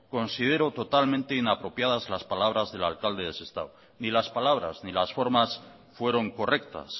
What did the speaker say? considero totalmente las palabras del alcalde de sestao ni las palabras ni las formas fueron correctas